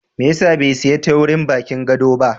Mai ya sa bai sayi teurin bakin gado ba?